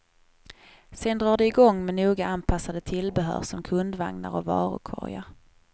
Sen drar de igång med noga anpassade tillbehör som kundvagnar och varukorgar.